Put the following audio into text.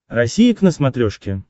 россия к на смотрешке